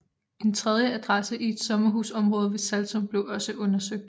En tredje adresse i et sommerhusområde ved Saltum blev også undersøgt